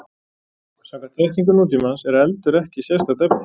Samkvæmt þekkingu nútímans er eldur ekki sérstakt efni.